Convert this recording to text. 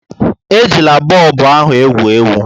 Ejila bọlbụ ahu egwu egwu!